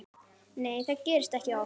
Nei það gerist ekki oft.